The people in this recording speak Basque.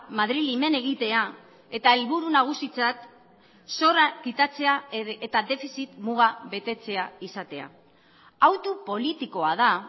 madrili men egitea eta helburu nagusitzat zorra kitatzea eta defizit muga betetzea izatea hautu politikoa da